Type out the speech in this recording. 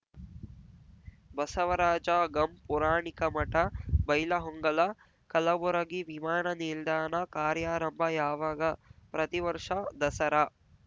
ಬಸವರಾಜ ಗಂ ಪುರಾಣಿಕಮಠ ಬೈಲಹೊಂಗಲ ಕಲಬುರಗಿ ವಿಮಾನ ನಿಲ್ದಾಣ ಕಾರ್ಯಾರಂಭ ಯಾವಾಗ ಪ್ರತಿ ವರ್ಷ ದಸರಾ